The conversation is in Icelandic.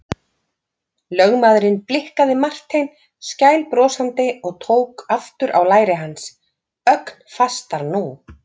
Lögmaðurinn blikkaði Martein skælbrosandi og tók aftur á læri hans, ögn fastar nú.